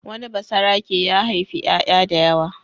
Wani basarake ya haifi ƴaƴa da yawa.